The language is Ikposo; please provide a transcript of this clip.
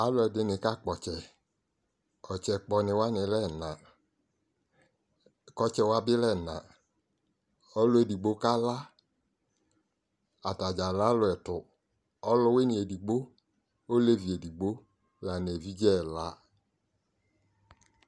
Aluɛdini kakpɔ ɔtsɛ ɔtsɛ kpɔ ni wani alɛ ɛna ku ɔtsɛ wa bi lɛ ɛna ɔluedigbo kala atadza lɛ aluɛtu ɔlwini edigbo olevi edigbo evidze ɛla